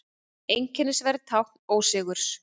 Einskisverð tákn ósigurs.